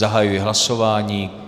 Zahajuji hlasování.